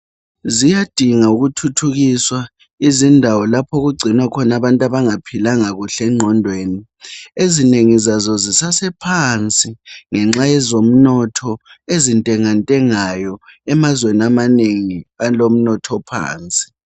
Ziyadinga ukuthuthukiswa izindawo lapho okugcinwa khona abantu abangaphilanga kuhle ngqondweni .Ezinengi zazo zisasephansi ngenxa yezomnotho ezintengantengayo emazweni amanengi alomnotho ophansi .